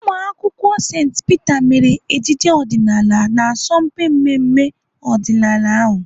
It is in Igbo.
Ụmụakwụkwọ St Peter mere ejije ọdịnaala n'asọmpi mmemme ọdịnala ahụ.